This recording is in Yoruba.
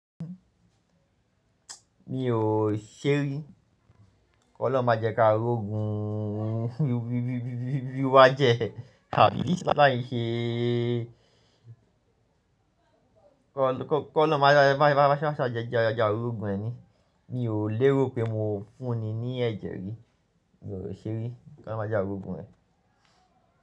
Mi ò ṣerí. Kọ́ lọ́un má jẹ ká rọ̀gùn bí wá jẹ, tàbí bí láàlá yìí ṣe kọ́ lọun máa sá ṣàjẹjàn rọ̀gùn ẹ ní. Mi ò lérò pé mo ń fún ni ní ẹ̀jẹ̀ rí, mi ò ṣerí. Kọ́ lọun má jẹ a rọ̀gùn ẹ.